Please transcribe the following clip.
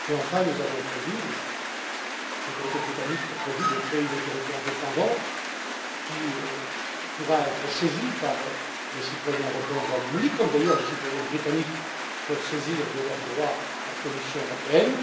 Enfin, les autorités britanniques ont prévu de créer une autorité indépendante qui pourra être saisie par les citoyens européens au Royaume-Uni, comme d'ailleurs les citoyens britanniques peuvent saisir de leurs droits la Commission européenne.